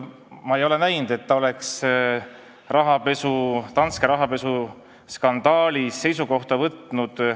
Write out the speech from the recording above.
Ma ei ole näinud, et ta oleks Danske rahapesuskandaali kohta seisukoha võtnud.